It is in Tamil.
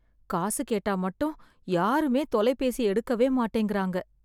காசு கேட்டா மட்டும் யாருமே தொலைபேசி எடுக்கவே மாட்டேங்கிறாங்க.